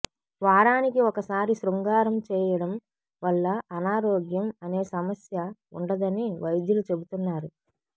వారానికి ఒకసారి శృంగారం చేయడం వల్ల అనారోగ్యం అనే సమస్య ఉండదని వైద్యులు చెబుతున్నారు